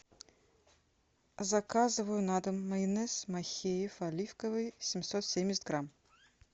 заказываю на дом майонез махеев оливковый семьсот семьдесят грамм